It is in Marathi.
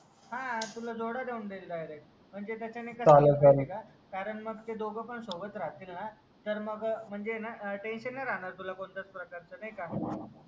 हा तुला जोडा देऊन देईल direct म्हणजे त्याचाने कस आहे माहीत आहे का ते दोघ पण सोबत राहतील ना तर मग म्हणजे आहे ना tension नाही राहणार तुला कोणत्याच प्रकारच नाही का